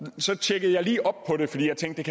så tjekkede jeg lige op på det fordi jeg tænkte